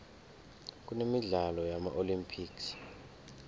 kunemidlalo yama olympics